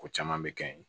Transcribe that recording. Ko caman bɛ kɛ yen